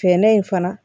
Fɛɛrɛ in fana